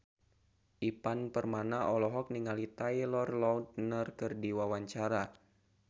Ivan Permana olohok ningali Taylor Lautner keur diwawancara